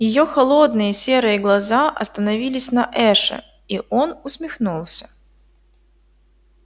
её холодные серые глаза остановились на эше и он усмехнулся